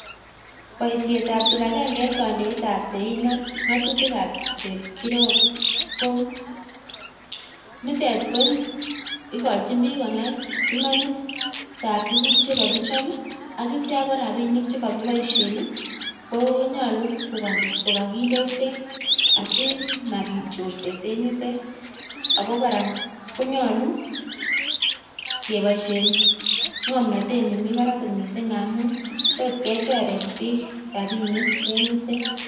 Boisiet ab kipagenge en kondeet ab sein ak ng'atutik ab chepkirop ko nitet ko igochin biik konai imanit ab tuugk che kogichop ak kitya ko rabinik che kokiboishen konyolu ko kaginde yutet asimabit chorset en yutet ago kora konyolu keboishen ng'omnatet nemi barak kot mising ngamun tot kechoren biiik rabinik en yutet.